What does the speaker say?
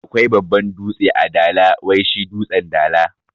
Akwai babban dutse a dala wai shi dutsen dala